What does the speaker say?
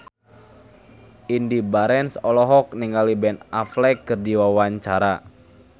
Indy Barens olohok ningali Ben Affleck keur diwawancara